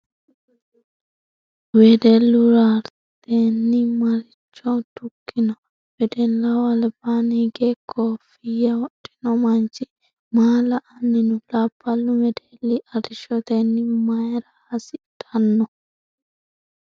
Wedellu raretenni maricho dukkino ? Wedellaho albaanni hige kooffiyya wodhinno manchi maa la'anni no ? Labballu wedelli arrishshotenni marya hasdhanno ?